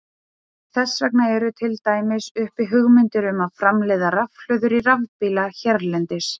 Þess vegna eru til dæmis uppi hugmyndir um að framleiða rafhlöður í rafbíla hérlendis.